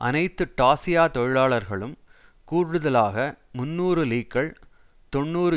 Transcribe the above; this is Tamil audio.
அனைத்து டாசியா தொழிலாளர்களும் கூடுதலாக முன்னூறு லீக்கள் தொன்னூறு